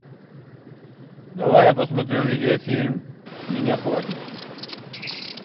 давай я посмотрю видеофильм с меня хватит